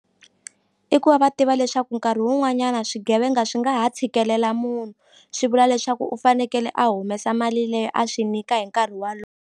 I ku va va tiva leswaku nkarhi wun'wanyana swigevenga swi nga ha tshikelela munhu swi vula leswaku u fanekele a humesa mali leyi a swi nyika hi nkarhi .